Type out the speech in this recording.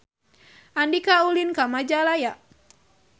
Andika ulin ka Majalaya